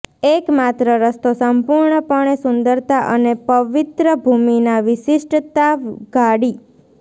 એક માત્ર રસ્તો સંપૂર્ણપણે સુંદરતા અને પવિત્ર ભૂમિ ના વિશિષ્ટતા ઉઘાડી